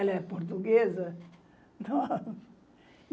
Ela é portuguesa.